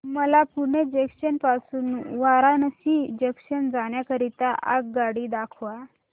मला पुणे जंक्शन पासून वाराणसी जंक्शन जाण्या करीता आगगाडी दाखवा